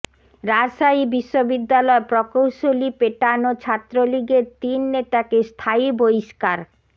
রাজশাহী বিশ্ববিদ্যালয় প্রকৌশলী পেটানো ছাত্রলীগের তিন নেতাকে স্থায়ী বহিষ্কার